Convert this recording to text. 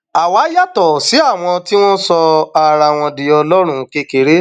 àwa yàtọ sí àwọn tí wọn sọ ara wọn di ọlọrun kékeré